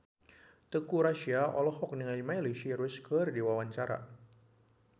Teuku Rassya olohok ningali Miley Cyrus keur diwawancara